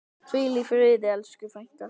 Hvíl í friði elsku frænka.